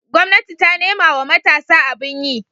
gwamnati ta nemawa matasa abin yi